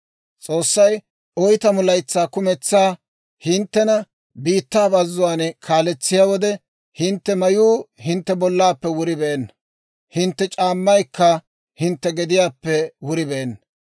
S'oossay oytamu laytsaa kumentsaa hinttena biittaa bazzuwaan kaaletsiyaa wode, hintte mayuu hintte bollaappe wuribeenna, hintte c'aammaykka hintte gediyaappe wuribeenna.